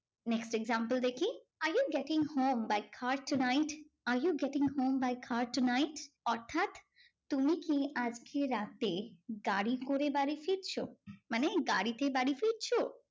Next example দেখি, are you getting home by car tonight? are you getting home by car tonight? অর্থাৎ তুমি কি আজকে রাতে গাড়ি করে বাড়ি ফিরছো? মানে গাড়িতে বাড়ি ফিরছো?